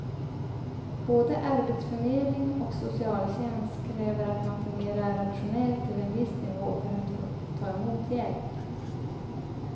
Både arbetsförmedling och socialtjänst kräver att man fungerar rationellt till en viss nivå för att få ta emot hjälp.